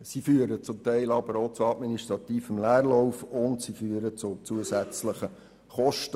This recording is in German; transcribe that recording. Sie führen zum Teil aber auch zu administrativem Leerlauf und zu zusätzlichen Kosten.